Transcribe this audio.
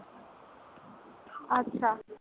আচ্ছা।